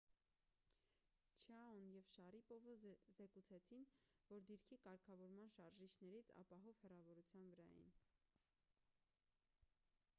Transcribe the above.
չիաոն և շարիպովը զեկուցեցին որ դիրքի կարգավորման շարժիչներից ապահով հեռավորության վրա էին